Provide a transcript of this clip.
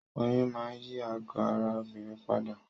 Oyún máa n yí àgọ́ ara obìnrin padà